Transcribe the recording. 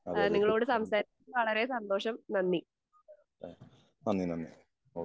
അതെ നന്ദി നന്ദി ഓക്കേ.